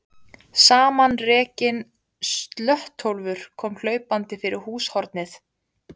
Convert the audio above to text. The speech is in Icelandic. Samanrekinn slöttólfur kom hlaupandi fyrir húshornið.